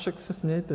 Však se smějte.